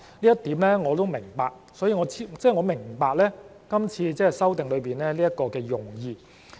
這點我是明白的，即我明白今次這一項修訂的用意。